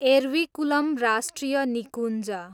एरविकुलम राष्ट्रिय निकुञ्ज